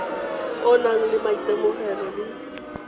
o nang le maitemogelo le